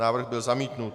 Návrh byl zamítnut.